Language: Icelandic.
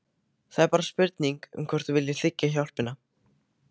Það er bara spurning um hvort þú viljir þiggja hjálpina.